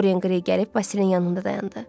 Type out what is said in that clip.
Doryan Qrey gəlib Basilin yanında dayandı.